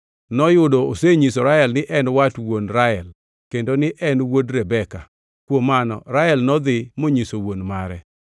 Noyudo osenyiso Rael ni en wat wuon Rael kendo ni en wuod Rebeka. Kuom mano Rael nodhi monyiso wuon mare.